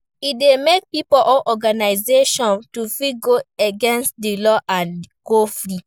E de make pipo or organization to fit go against di law and go free